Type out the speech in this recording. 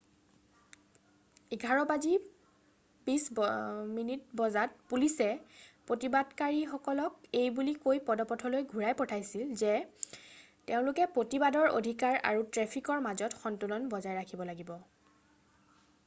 11:20 বজাত পুলিচে প্ৰতিবাদকাৰীসকলক এইবুলি কৈ পদপথলৈ ঘূৰাই পঠাইছিল যে তেওঁলোকে প্ৰতিবাদৰ অধিকাৰ আৰু ট্ৰেফিকৰ মাজত সন্তুলন বজাই ৰাখিব লাগিব।